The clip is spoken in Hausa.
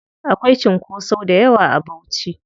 Akwai cunkoso dayawa a Bauchi.